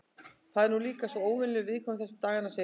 Ég er nú líka svo óvenjulega viðkvæm þessa dagana, segir hún.